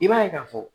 I b'a ye k'a fɔ